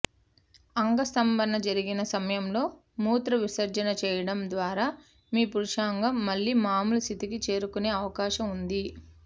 అంగస్తంభన జరిగిన సమయంలో మూత్ర విసర్జన చేయడం ద్వారా మీ పురుషాంగం మళ్ళీ మామూలు స్థితికి చేరుకునే అవకాశం ఉంది